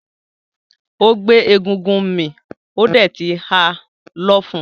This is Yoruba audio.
Ó gbé egúngún mì ó dẹ̀ ti ha lọ́fun.